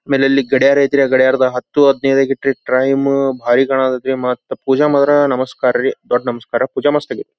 ಮನೇಲಿ ಗಡಿಯಾರ ಐತ್ರಿ. ಆ ಗಡಿಯಾರದಾಗ ಹತ್ತು ಹದಿನೈದು ಟೈಮ್ ಬಾರಿ ಕಾಣ್ ಕತ್ರಿ ಮತ್ ಪೂಜೆ ಮಾತ್ರ ನಮಸ್ಕಾರ ರೀ ದೊಡ್ಡ ನಮಸ್ಕಾರ ಪೂಜೆ ಮಸ್ತ್ ಮಾಡ್ಸ್ಕಳಿ.